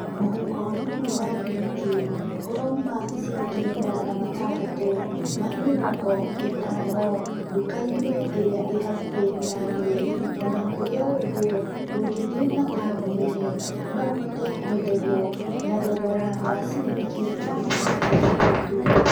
Mũhuko ũmwe wa thimiti ũrauma ciringi magana matandatũ ma mĩrongo ĩtano ndũka-inĩ ĩrĩa ĩ hakũhĩ na niĩ. Ona kurĩ o ũguo, ũngĩthiĩ mataũni-inĩ no ũhote kwenderio na thogora wa ciringi magana matandatũ tu.